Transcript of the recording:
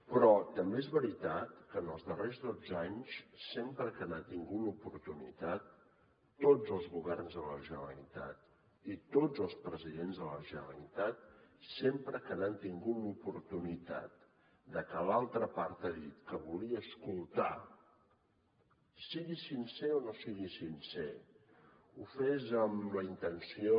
però també és veritat que en els darrers dotze anys sempre que n’han tingut l’oportunitat tots els governs de la generalitat i tots els presidents de la generalitat sempre que n’han tingut l’oportunitat que l’altra part ha dit que volia escoltar sigui sincer o no sigui sincer ho fes amb la intenció